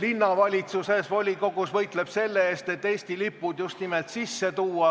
linnavolikogus võitleb selle eest, et Eesti lipud just nimelt sisse tuua.